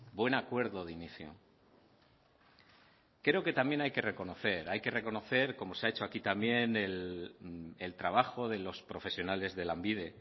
buen acuerdo de inicio creo que también hay que reconocer hay que reconocer como se ha hecho aquí también el trabajo de los profesionales de lanbide